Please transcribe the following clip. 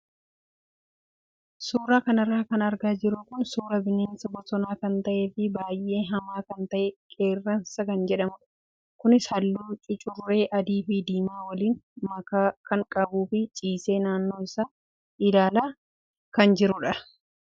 Suuraa kanarra kan argaa jirru kun suuraa bineensa bosonaa kan ta'ee fi baay'ee hamaa kan ta'e qeerransa kan jedhamudha. Kunis halluu cucurree adii fi diimaa waliin makaa kan qabuu fi ciisee naannoo isaa ilaalaa jira.